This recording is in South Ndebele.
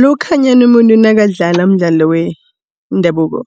Lokhanyana umuntu nakadlala umdlalo wendabuko